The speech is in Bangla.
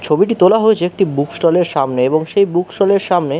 ছবিটি তোলা হয়েছে একটি বুক ষ্টল এর সামনে এবং সেই বুক ষ্টল এর সামনে--